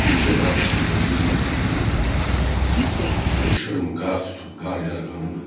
Bircə qarışdıqda zülməti qırıb, bir şırım qar tutub qar yarğanını.